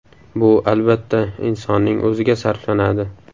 Bu, albatta, insonning o‘ziga sarflanadi.